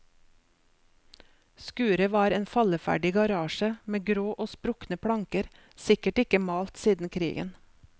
Skuret var en falleferdig garasje med grå og sprukne planker, sikkert ikke malt siden krigen.